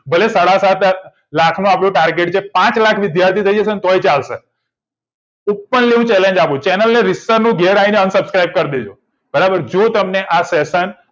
ભલે સાડા સાત લાખનું આપણું target છે પાંચ વિદ્યાર્થી થઇ જશે તો પણ ચાલશે open challenge આપું છુ channel ને અન subscribe કર દેજો બરાબર જો તમને આ session